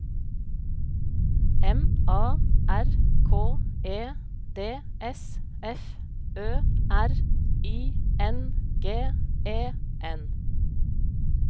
M A R K E D S F Ø R I N G E N